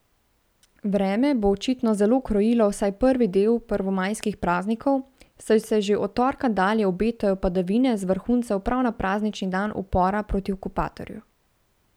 Vreme bo očitno zelo krojilo vsaj prvi del prvomajskih praznikov, saj se že od torka dalje obetajo padavine z vrhuncem prav na praznični dan upora proti okupatorju.